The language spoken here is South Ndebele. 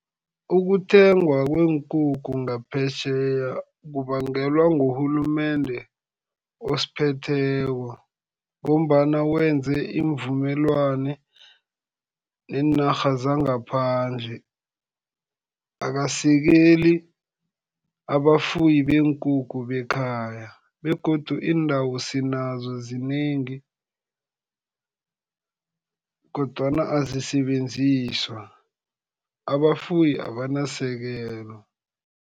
Ukuthengwa kweenkukhu ngaphetjheya kubangelwa ngurhulumende osiphetheko, ngombana wenze iimvumelwano neenarha zangaphandle. Akasekeli abafuyi beenkukhu bekhaya. Begodu iindawo sinazo zinengi, kodwana azisebenziswa, abafuyi abanasekelo.